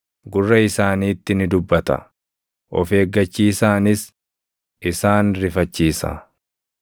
gurra isaaniitti ni dubbata; of eeggachiisaanis isaan rifachiisa;